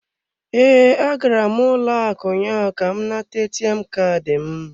Ee, agara m ụlọ akụ ụnyaahụ ka m nata ATM Kaadị m.